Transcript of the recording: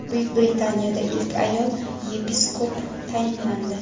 Buyuk Britaniyada ilk ayol yepiskop tayinlandi.